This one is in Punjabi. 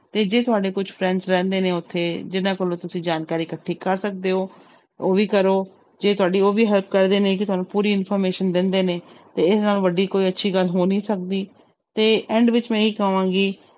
ਤੇ ਜੇ ਤੁਹਾਡੇ ਕੁਛ friends ਰਹਿੰਦੇ ਨੇ ਉੱਥੇ ਜਿਹਨਾਂ ਕੋਲੋਂ ਤੁਸੀਂ ਜਾਣਕਾਰੀ ਇਕੱਠੀ ਕਰ ਸਕਦੇ ਹੋ, ਉਹ ਵੀ ਕਰੋ, ਜੇ ਤੁਹਾਡੀ ਉਹ ਵੀ help ਕਰਦੇ ਨੇ ਕਿ ਤੁਹਾਨੂੰ ਪੂਰੀ information ਦਿੰਦੇ ਨੇ ਤੇ ਇਹਦੇ ਨਾਲੋਂ ਵੱਡੀ ਕੋਈ ਅੱਛੀ ਗੱਲ ਹੋ ਨੀ ਸਕਦੀ ਤੇ end ਵਿੱਚ ਮੈਂ ਇਹੀ ਕਵਾਂਗੀ।